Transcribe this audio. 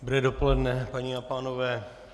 Dobré dopoledne, paní a pánové.